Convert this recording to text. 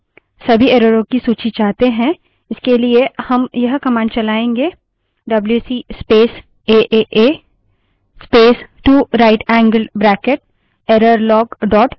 लेकिन क्या यदि हम सभी एररों की सूची चाहते हैं इसके लिए हम यह कमांड चलाएंगे W C space A A A space 2 right angled bracket error log dot T X T wc space aaa space 2 rightangled bracket twice errorlog txt